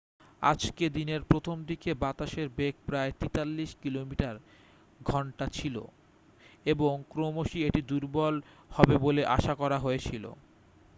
আজকে দিনের প্রথম দিকে বাতাসের বেগ প্রায় 83 কিমি/ঘন্টা ছিল এবং ক্রমশই এটি দুর্বল হবে বলে আশা করা হয়েছিল।